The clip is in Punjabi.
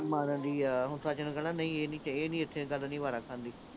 ਕਹਿਣਾ, ਨਹੀਂ ਇਹ ਨੀਂ, ਇਹ ਨੀਂ ਇਥੇ, ਏਦਾਂ ਨੀ ਹੋਣਾ